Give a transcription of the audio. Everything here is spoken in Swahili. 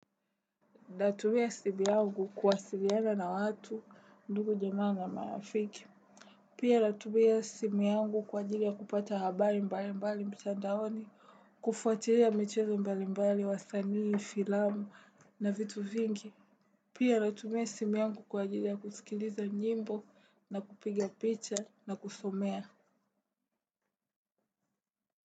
Natumia simu yangu kuwasiliana na watu ndugu jamaa na marafiki. Pia natumia simu yangu kwa ajili ya kupata habari mbali mbali mtandaoni. Kufuatilia michezo mbali mbali wasanii, filamu na vitu vingi. Pia natumia simu yangu kwa ajili ya kusikiliza nyimbo na kupiga picha na kusomea.